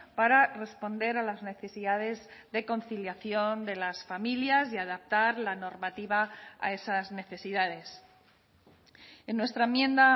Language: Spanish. para responder a las necesidades de conciliación de las familias y adaptar la normativa a esas necesidades en nuestra enmienda